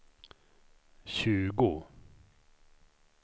tjugo